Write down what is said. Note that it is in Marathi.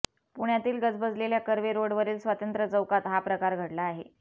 पुण्यातील गजबजलेल्या कर्वे रोडवरील स्वातंत्र्य चौकात हा प्रकार घडला आहे